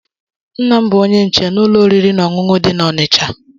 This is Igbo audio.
Nna'm bu onye nche na ụlọ oriri na ọṅụṅụ di na Onitsha.